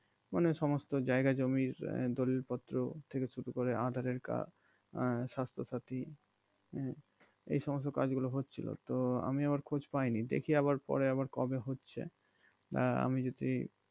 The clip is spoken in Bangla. মানে সমস্ত জায়গা জমির দলিল পত্র থেকে শুরু করে আঁধারের card স্বাস্থ্য সাথী হম এ সমস্ত কাজগুলো হচ্ছিল তো আমি আবার খোঁজ পায়নি দেখি আবার পরে আবার কবে হচ্ছে আহ আমি যদি